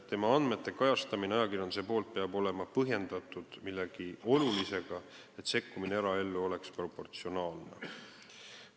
Inimese andmete kajastamine ajakirjanduses peab olema põhjendatud millegi olulisega, et sekkumine eraellu oleks proportsionaalne.